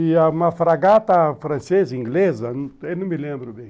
E uma fragata francesa, inglesa, eu não me lembro bem.